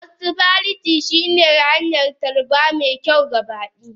Hospitality shine hanyar tarba mai kyau ga baki.